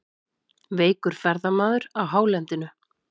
Veikur ferðamaður á hálendinu